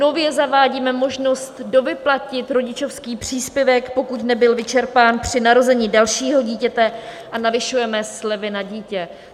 Nově zavádíme možnost dovyplatit rodičovský příspěvek, pokud nebyl vyčerpán při narození dalšího dítěte, a navyšujeme slevy na dítě.